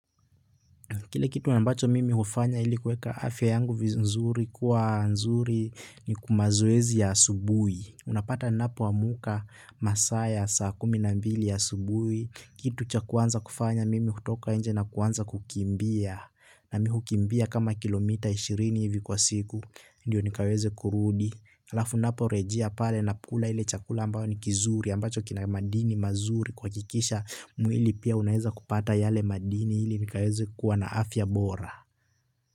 Kile kitu na ambacho mimi hufanya ili kueka afya yangu vizuri kuwa nzuri ni mazoezi ya asubuhi. Unapata ninapoamka masaa ya saa kumi na mbili asubuhi. Kitu cha kwanza kufanya mimi hutoka nje na kuanza kukimbia. Na mimi hukimbia kama kilomita ishirini hivi kwa siku. Ndio nikaweze kurudi. Halafu ninaporejea pale ninakula ile chakula ambayo ni kizuri ya ambacho kina madini mazuri kuhakikisha mwili pia unaeza kupata yale madini ili nikaweze kuwa na afya bora.